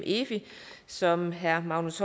efi som herre magnus